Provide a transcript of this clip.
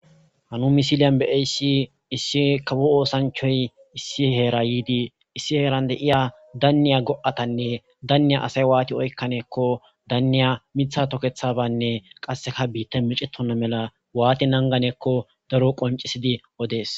Ha nu misilen be'iyasi kawo oosanchay issi heera yidi issi heeran de'iya daniya go'atane daniya asay waati oykanako daniya mitha toketabane kaseka biitay meecetina mala waati naaganako daro qoncisidi odes.